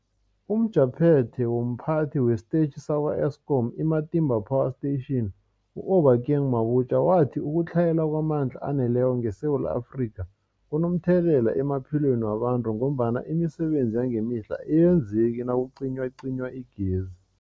UmJaphethe womPhathi wesiTetjhi sakwa-Eskom i-Matimba Power Station u-Obakeng Mabotja wathi ukutlhayela kwamandla aneleko ngeSewula Afrika kunomthelela emaphilweni wabantu ngombana imisebenzi yangemihla ayenzeki nakucinywacinywa igezi.